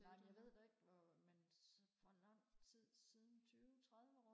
nej jeg ved da ikke hvor men hvor lang tid siden tyve tredive år